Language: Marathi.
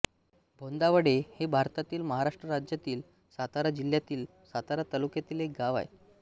भोंदावडे हे भारतातील महाराष्ट्र राज्यातील सातारा जिल्ह्यातील सातारा तालुक्यातील एक गाव आहे